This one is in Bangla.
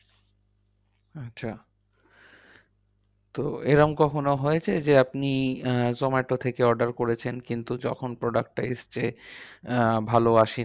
আচ্ছা তো এরম কখনো হয়েছে? যে আপনি আহ zomato থেকে order করেছেন কিন্তু যখন product টা এসেছে আহ ভালো আসেনি।